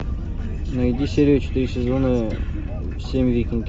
найди серию четыре сезона семь викинги